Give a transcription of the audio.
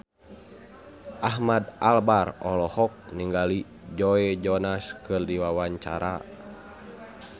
Ahmad Albar olohok ningali Joe Jonas keur diwawancara